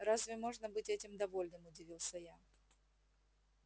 разве можно быть этим довольным удивился я